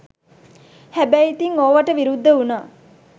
හැබැයි ඉතිං ඕවට විරුද්ධ උනා